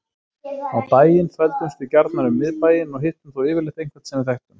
Á daginn þvældumst við gjarnan um miðbæinn og hittum þá yfirleitt einhvern sem við þekktum.